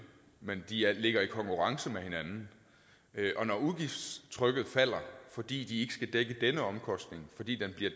men de ligger i konkurrence med hinanden og når udgiftstrykket falder fordi de ikke skal dække denne omkostning fordi den bliver